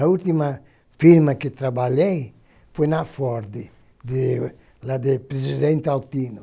A última firma que trabalhei foi na Ford, de lá de Presidente Altino.